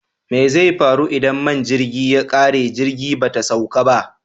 Mai zai faru idan man jirgi ya ƙare jirgi bata sauƙa ba?